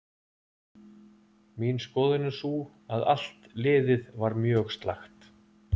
Mín skoðun er sú að allt liðið var mjög slakt.